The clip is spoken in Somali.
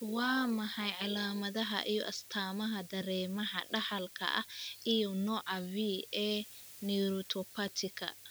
Waa maxay calaamadaha iyo astaamaha Dareemaha Dhaxalka ah iyo nooca V ee neuropathy-ka